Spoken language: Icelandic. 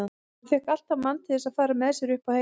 Hann fékk alltaf mann til að fara með sér upp á heiði.